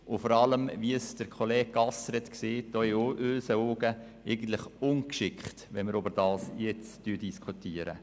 Wie Kollege Gasser gesagt hat, wäre es auch in unseren Augen eigentlich ungeschickt, jetzt über diese Frage zu diskutieren.